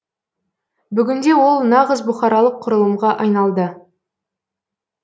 бүгінде ол нағыз бұқаралық құрылымға айналды